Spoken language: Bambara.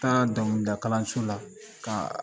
Taara donkilida kalanso la ka